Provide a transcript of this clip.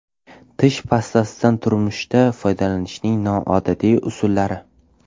Tish pastasidan turmushda foydalanishning noodatiy usullari.